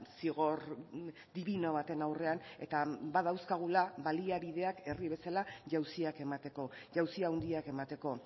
zigor dibino baten aurrean eta badauzkagula baliabideak herri bezala jauziak emateko jauzi handiak emateko